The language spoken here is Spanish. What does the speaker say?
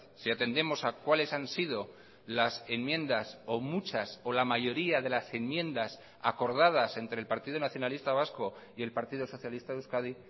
si atendemos a cuáles han sido las enmiendas o muchas o la mayoría de las enmiendas acordadas entre el partido nacionalista vasco y el partido socialista de euskadi